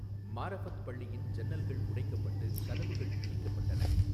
மாரஃபத் பள்ளியின் ஜன்னல்கள் உடைக்கப்பட்டு கதவுகள் இடிக்கப்பட்டன.